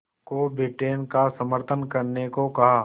को ब्रिटेन का समर्थन करने को कहा